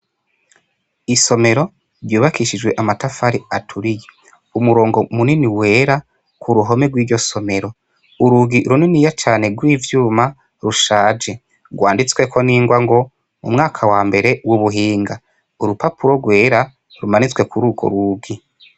Isomero ryubakishijwe amatafari aturiye, umurongo munini wera ku ruhome rw'iryo somero, urugi runiniya cane gw'ivyuma rushaje rwanditsweko n'ingwa ngo mu mwaka wa mbere w'ubuhinga, urupapuro rwera rumanitswe kurugwo rugi.